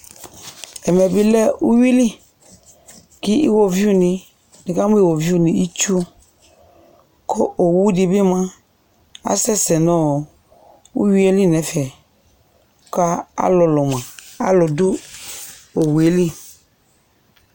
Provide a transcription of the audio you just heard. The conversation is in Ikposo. Ɛmɛ bɩ lɛ uyui li li ieoviunɩ, nikamʋ iwoviunɩ ɩtsu kʋ owudɩ bɩ mua asɛsɛ nʋ uyui yɛ li n'ɛfɛka alʋlʋ mua, alʋ dʋ owu yɛ li